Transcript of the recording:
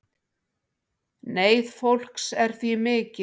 Neyð fólks er því mikil